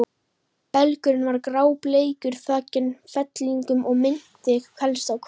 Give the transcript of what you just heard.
Belgurinn var grábleikur, þakinn fellingum og minnti helst á hval.